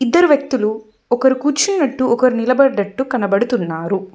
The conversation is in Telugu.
ఇద్దరు వ్యక్తులు ఒకరు కూర్చున్నట్టు ఒకరు నిలబడట్టు కనబడుతున్నారు.